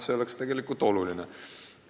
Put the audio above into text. See oleks väga oluline.